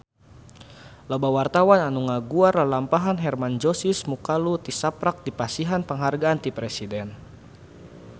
Loba wartawan anu ngaguar lalampahan Hermann Josis Mokalu tisaprak dipasihan panghargaan ti Presiden